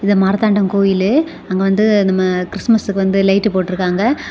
இது மார்த்தாண்டம் கோயிலு. அங்க வந்து நம்ம கிறிஸ்துமஸ்க்கு வந்து லைட் போட்ருக்காங்க.